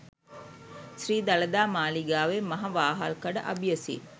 ශ්‍රී දළදා මාලිගාවේ මහ වහල්කඩ අබියසින්